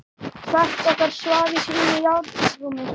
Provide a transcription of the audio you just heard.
Hvert okkar svaf í sínu járnrúmi.